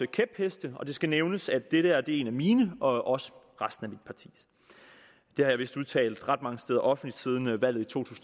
kæpheste og det skal nævnes at dette er en af mine og også resten af mit partis det har jeg vist udtalt ret mange steder offentligt siden valget i to